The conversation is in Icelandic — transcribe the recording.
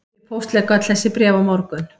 Ég póstlegg öll þessi bréf á morgun